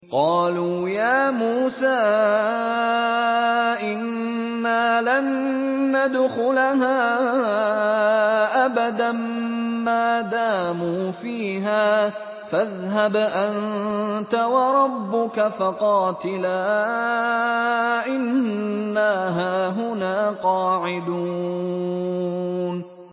قَالُوا يَا مُوسَىٰ إِنَّا لَن نَّدْخُلَهَا أَبَدًا مَّا دَامُوا فِيهَا ۖ فَاذْهَبْ أَنتَ وَرَبُّكَ فَقَاتِلَا إِنَّا هَاهُنَا قَاعِدُونَ